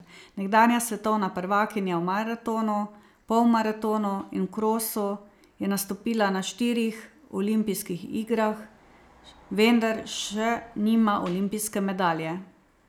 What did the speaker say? Nekdanja svetovna prvakinja v maratonu, polmaratonu in v krosu je nastopila na štirih olimpijskih igrah, vendar še nima olimpijske medalje.